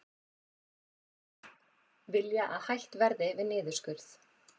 Vilja að hætt verði við niðurskurð